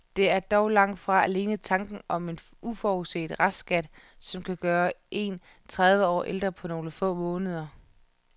Det er dog langt fra alene tanken om en uforudset restskat, som kan gøre en tredive år ældre på nogle få måneder.